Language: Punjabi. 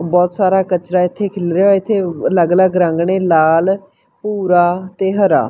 ਬਹੁਤ ਸਾਰਾ ਕਚਰਾ ਇਥੇ ਖਿਲ ਰਿਹਾ ਇਥੇ ਅਲੱਗ ਅਲੱਗ ਰੰਗ ਨੇ ਲਾਲ ਭੂਰਾ ਤੇ ਹਰਾ।